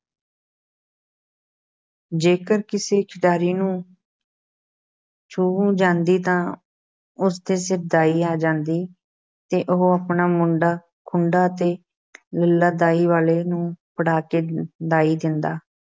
ਜੇਕਰ ਕਿਸੇ ਖਿਡਾਰੀ ਨੂੰ ਛੂਹ ਜਾਂਦੀ ਤਾਂ ਉਸ ਦੇ ਸਿਰ ਦਾਈ ਆ ਜਾਂਦੀ ਤੇ ਉਹ ਆਪਣਾ ਮੁੰਡਾ ਖੂੰਡਾ ਅਤੇ ਲੱਲ੍ਹਾ ਦਾਈ ਵਾਲੇ ਨੂੰ ਫੜਾ ਕੇ ਦਾਈ ਦਿੰਦਾ।